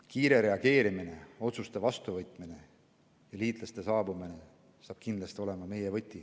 Kiire reageerimine, otsuste vastuvõtmine ja liitlaste saabumine saab kindlasti olema meie võti.